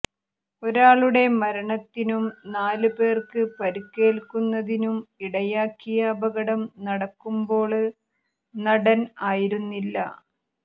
ഒരാളുടെ മരണത്തിനും നാല് പേര്ക്ക് പരുക്കേല്ക്കുന്നതിനും ഇടയാക്കിയ അപകടം നടക്കുമ്പോള് നടന് ആയിരുന്നില്ല